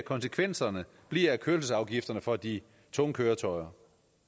konsekvenserne bliver af kørselsafgifterne for de tunge køretøjer